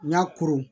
N ka koron